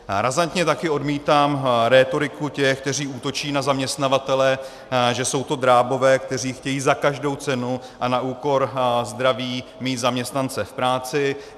Razantně taky odmítám rétoriku těch, kteří útočí na zaměstnavatele, že jsou to drábové, kteří chtějí za každou cenu a na úkor zdraví mít zaměstnance v práci.